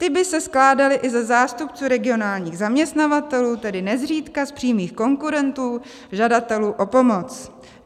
"Ty by se skládaly i ze zástupců regionálních zaměstnavatelů, tedy nezřídka z přímých konkurentů žadatelů o pomoc.